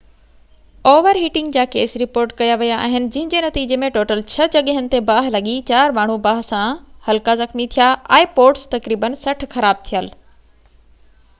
تقريبن 60 خراب ٿيل ipods اور هيٽنگ جا ڪيس رپورٽ ڪيا ويا آهن جنهن جي نتيجي ۾ ٽوٽل ڇهه جڳهين تي ٻاهه لڳي چار ماڻهو باهه سان هلڪا زخمي ٿيا